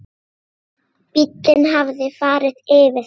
Bíllinn hafði farið yfir það.